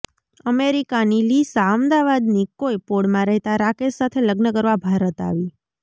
અમેરિકાની લિસા અમદાવાદની કોઈ પોળમાં રહેતા રાકેશ સાથે લગ્ન કરવા ભારત આવી